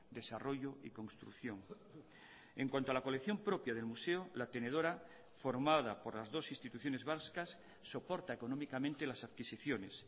desarrollo y construcción en cuanto a la colección propia del museo la tenedora formada por las dos instituciones vascas soporta económicamente las adquisiciones